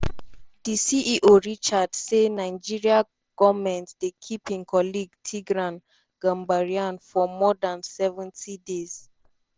di ceo richard say nigeria goment don keep im colleague tigran gambaryan for more dan 70 days.